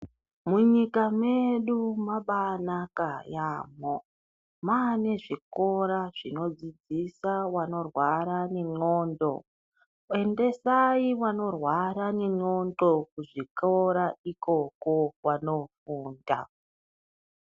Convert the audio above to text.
Munyika medu mabai naka yamho mane zvikora zvino dzidzisa vanorwara ne ndxondo endesai vanorwara ne ndxondo ku zvikora ikoko vano funda.